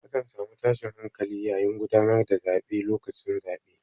A kan samu tashin hankali yayin gudanar da zaɓe lokacin zaɓe.